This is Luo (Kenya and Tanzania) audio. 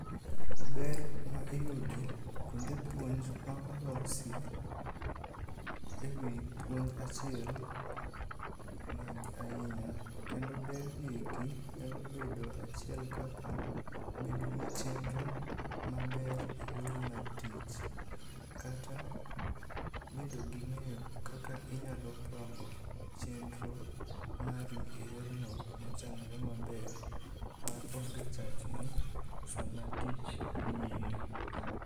Ber ma iyude kuonde puonj ma olosi e wi puonj achiel ng'eny ahinya. Kendo ber gi eki nyalo bedo achiel kaka, bedo gi chenro maber e yori mar tich kata bedo gi ng'eyo kaka inyalo pango chenro mari e yorno mochanre maber maonge chachni sama tich dhi nyime.